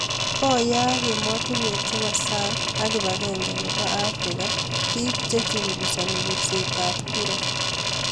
Koyak emoshek chepo sang ak kipagenge nebo Africa pik che chungusani pirset ap kura.